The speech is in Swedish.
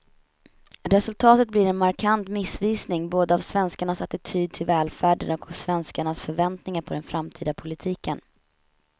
Resultatet blir en markant missvisning både av svenskarnas attityd till välfärden och av svenskarnas förväntningar på den framtida politiken.